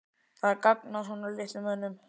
Það er gagn að svona mönnum.